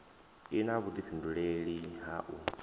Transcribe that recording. i na vhudifhinduleli ha u